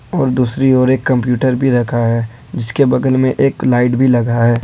और दूसरी ओर एक कंप्यूटर भी रखा है जिसके बगल में एक लाइट भी लगा है।